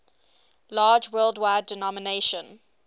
large worldwide denomination